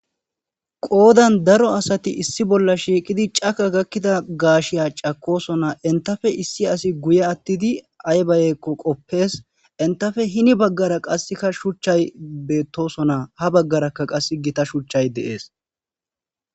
Qoodan daro asati issi bolla shiiqidi caka gakkida gaashiya cakosona intafe issi asi guye attidi aybaayekko qoppees intafe hini baggara qasseka shuchchay beettosona ha baggarakka qass gita shuchchay deers